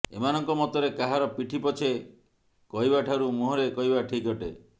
ଏମାନଙ୍କ ମତରେ କାହାର ପିଠି ପଛେ କହିବାଠାରୁ ମୁହଁରେ କହିବା ଠିକ୍ ଅଟେ